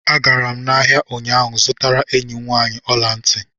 A gara m ahịa ụnyaahụ zụtara enyi m nwaanyị ọla ntị